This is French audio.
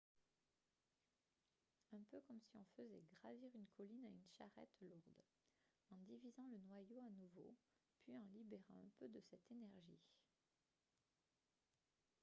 un peu comme si on faisait gravir une colline à une charrette lourde en divisant le noyau à nouveau puis en libérant un peu de cette énergie